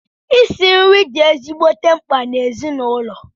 Isi nri di ezigbote mkpa n’ezinụlọ